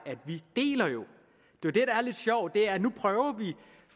jo det der er lidt sjovt at nu prøver man